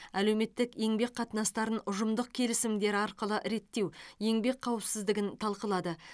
әлеуметтік еңбек қатынастарын ұжымдық келісімдер арқылы реттеу еңбек қауіпсіздігін талқылады